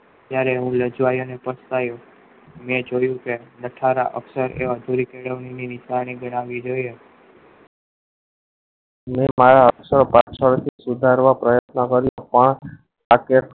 અક્ષરો જોયા ત્યારે રાજ્વાયા ને પછ્તાયો મેં જોયું કે નઠારા અક્ષર એવા રહે મારા અક્ષર પાછા સુધારવા પ્રત્યન કર્યું પણ શક્ય